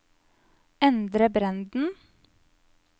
Endre Brenden